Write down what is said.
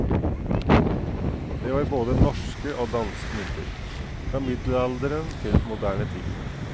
Det var både norske og danske mynter, fra middelalderen til moderne tid.